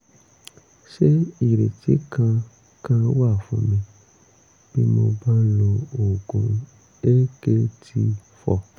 ṣé ìrètí kankan wà fún mi bí mo bá ń lo oògùn akt four?